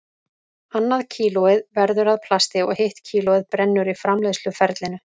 Annað kílóið verður að plasti og hitt kílóið brennur í framleiðsluferlinu.